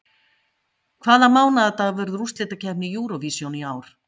Hvaða mánaðardag verður úrslitakeppni Eurovision í ár?